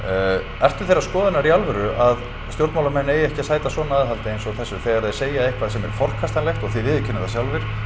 ertu þeirrar skoðunar í alvöru að stjórnmálamenn eigi ekki að sæta svona aðhaldi eins og þessu þegar þeir segja eitthvað sem er forkastanlegt og þið viðurkennið það sjálfir